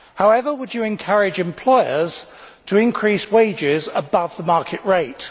However, would you encourage employers to increase wages above the market rate?